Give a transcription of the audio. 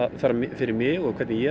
fyrir mig og hvernig ég